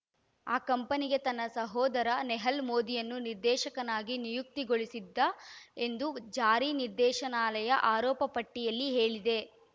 ಆ ಕಂಪನಿಗೆ ತನ್ನ ಸಹೋದರ ನೆಹಲ್ ಮೋದಿಯನ್ನು ನಿರ್ದೇಶಕನಾಗಿ ನಿಯುಕ್ತಿಗೊಳಿಸಿದ್ದ ಎಂದು ಜಾರಿ ನಿರ್ದೇಶನಾಲಯ ಆರೋಪಪಟ್ಟಿಯಲ್ಲಿ ಹೇಳಿದೆ